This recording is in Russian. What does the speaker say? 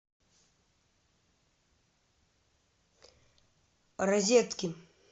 розетки